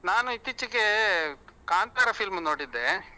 ನಾನು ಇತ್ತೀಚೆಗೆ ಕಾಂತಾರ film ನೋಡಿದ್ದೆ.